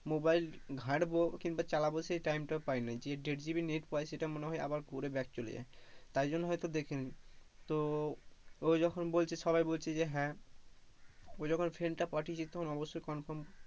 mobile ঘাটবো কিংবা চালাবো সে time টাও পায়না যে দেড় GB net পায় সেটা মনে হয় আবার পরে back চলে যায়, তাই জন্য হয়তো দেখেনি তো ও যখন বলছে সবাই বলছে যে হ্যাঁ ও যখন friend টা পাঠিয়েছে তখন অবশ্যই confirm,